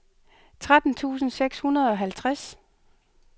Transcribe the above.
tretten tusind seks hundrede og halvtreds